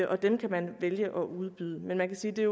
og dem kan man vælge at udbyde men man kan sige at det